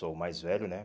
Sou o mais velho, né?